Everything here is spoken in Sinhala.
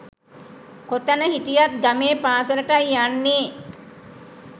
කොතැන හිටියත් ගමේ පාසලටයි යන්නේ